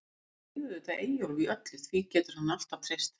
Ég styð auðvitað Eyjólf í öllu, því getur hann alltaf treyst.